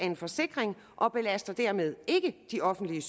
en forsikring og belaster dermed ikke de offentlige